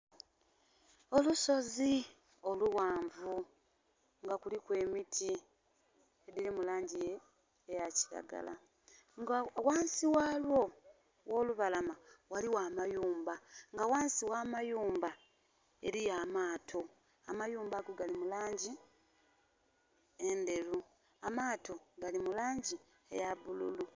Olusozi olughanvu nga kuliku emiti edhili mu langi eya kiragala. Nga ghansi ghalwo, gh'olubalama waliwo amayumba nga ghansi gh'amayumba eliyo amaato. Amayumba ago gali mu langi endheru. Amaato gali mu langi eya bululu.